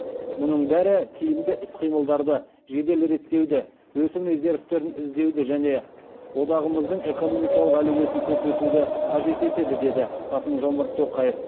мұның бәрі тиімді іс қимылдарды жедел реттеуді өсім резервтерін іздеуді және одағымыздың экономикалық әлеуетін көрсетуді қажет етеді деді қасым жомарт тоқаев